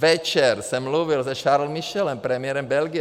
Večer jsem mluvil se Charlesem Michelem, premiérem Belgie.